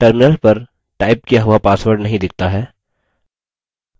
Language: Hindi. terminal पर टाइप किया हुआ password नहीं दिखता है